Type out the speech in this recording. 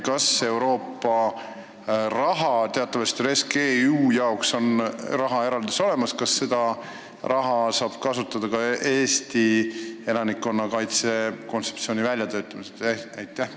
Kas Euroopa raha – teatavasti REScEU jaoks on raha eraldatud –, saab kasutada ka Eesti elanikkonnakaitse kontseptsiooni elluviimiseks?